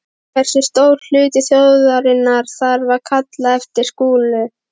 Hversu stór hluti þjóðarinnar þyrfti að kalla eftir slíku?